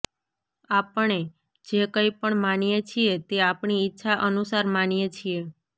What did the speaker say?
આપણે જે કઈ પણ માનીએ છીએ તે આપણી ઈચ્છા અનુસાર માનીએ છીએ